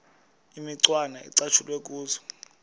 imicwana ecatshulwe kuzo